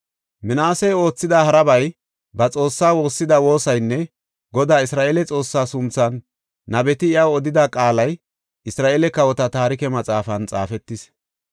Minaase oothida harabay, ba Xoossaa woossida woosaynne Godaa Isra7eele Xoossaa sunthan nabeti iyaw odida qaalay Isra7eele kawota taarike maxaafan xaafetis.